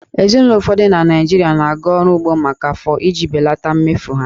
Ezinụlọ ụfọdụ na Naịjirịa na-aga ọrụ ugbo maka afọ iji belata mmefu ha